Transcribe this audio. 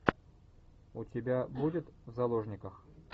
у тебя будет в заложниках